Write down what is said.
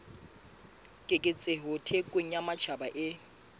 keketseho thekong ya matjhaba e